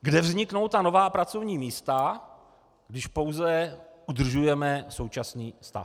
kde vzniknou ta nová pracovní místa, když pouze udržujeme současný stav.